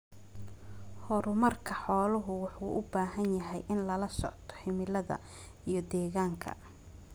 Horumarka xooluhu wuxuu u baahan yahay in lala socdo cimilada iyo deegaanka.